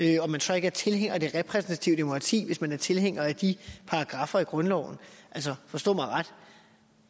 er man så ikke tilhænger af det repræsentative demokrati hvis man er tilhænger af de paragraffer i grundloven altså forstå mig ret